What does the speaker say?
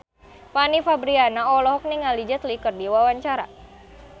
Fanny Fabriana olohok ningali Jet Li keur diwawancara